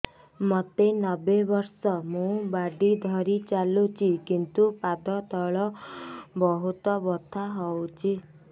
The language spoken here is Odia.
ମୋତେ ନବେ ବର୍ଷ ମୁ ବାଡ଼ି ଧରି ଚାଲୁଚି କିନ୍ତୁ ପାଦ ତଳ ବହୁତ ବଥା ହଉଛି